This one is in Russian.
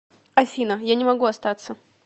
афина я не могу остаться